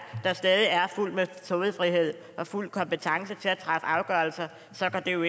der stadig er fuld metodefrihed og fuld kompetence til at træffe afgørelser så går det jo